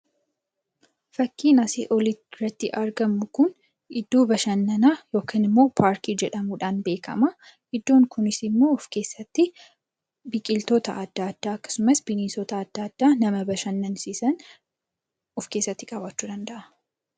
Fakkiin asii olitti agarru kun iddoo bashannanaa paarkii jedhamuudhaan beekama. Iddoon kunis immoo of keessatti biqiltoota adda addaa akkasumas bineensota adda addaa nama bashannansiisan of keessatti qabaachuu danda'a.